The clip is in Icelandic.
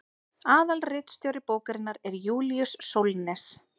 aðalritstjóri bókarinnar er júlíus sólnes